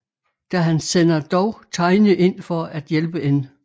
Da han sender dog Tiny ind for at hjælpe N